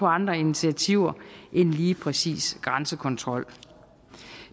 andre initiativer end lige præcis grænsekontrol